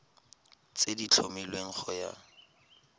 tse di tlhomilweng go ya